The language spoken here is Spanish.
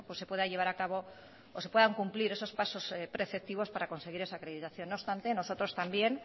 se pueda llevar acabo o se puedan cumplir esos pasos preceptivos para conseguir esa acreditación no obstante nosotros también